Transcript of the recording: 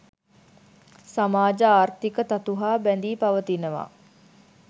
සමාජ ආර්ථීක තතු හා බැඳී පවතිනවා.